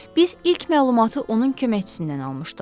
Biz ilk məlumatı onun köməkçisindən almışdıq.